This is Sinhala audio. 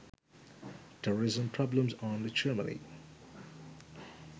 terrorism problems on germany